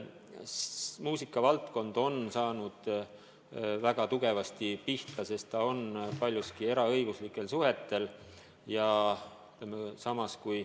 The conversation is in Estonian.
Muusikavaldkond on väga tugevasti pihta saanud, sest see on paljuski rajanenud eraõiguslikel suhetel.